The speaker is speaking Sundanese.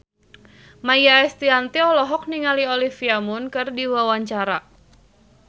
Maia Estianty olohok ningali Olivia Munn keur diwawancara